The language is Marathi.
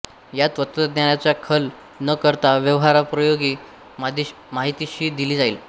यात तत्त्वज्ञानाचा खल न करता व्यवहारोपयोगी माहितीही दिली जाईल